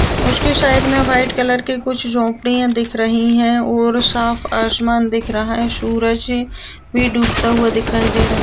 उसके साइड में white colour की कुछ झोपड़िया दिख रही है और साफ़ आसमान दिख रहा है सूरज भी डूबता हुआ दिखाई दे रहा है।